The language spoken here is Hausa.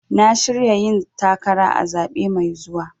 Na shirya yin takara a zaɓe mai zuwa.